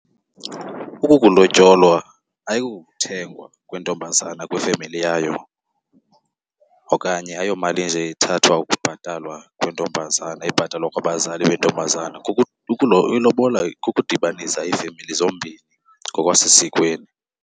Ukukulotyolwa ayikokuthengwa kwentombazane kwifemeli yayo okanye ayomali nje ethathwa ukubhatalwa kwentombazane ebhatalwa kwabazali bentombazana, ilobola kukudibanisa iifemeli zombini ngokwasesikweni.